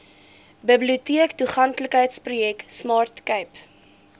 biblioteektoeganklikheidsprojek smart cape